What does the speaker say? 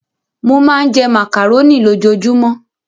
Mo máa ń jẹ màkàróní lójoojúmọ́.